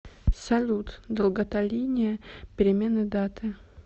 салют долгота линия перемены даты